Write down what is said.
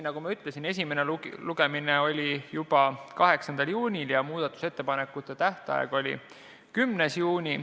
Esimene lugemine oli juba 8. juunil ja muudatusettepanekute tähtaeg oli 10. juuni.